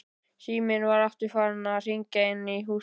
Síminn var aftur farinn að hringja inni í húsinu.